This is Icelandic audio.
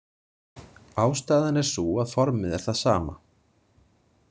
Ástæðan er sú að formið er það sama.